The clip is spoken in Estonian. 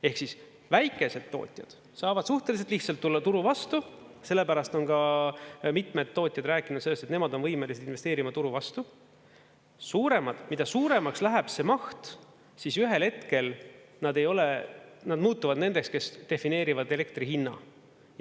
Ehk siis väikesed tootjad saavad suhteliselt lihtsalt tulla turu vastu, sellepärast on ka mitmed tootjad rääkinud sellest, et nemad on võimelised investeerima turu vastu, suuremad, mida suuremaks läheb see maht, siis ühel hetkel nad muutuvad nendeks, kes defineerivad elektri hinna.